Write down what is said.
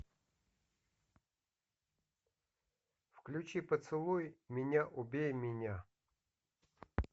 включи поцелуй меня убей меня